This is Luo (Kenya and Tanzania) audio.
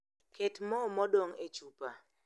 Ket moo modong' e chupa